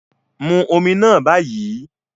Mu omi náà báyìí.